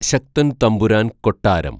ശക്തന്‍ തമ്പുരാന്‍ കൊട്ടാരം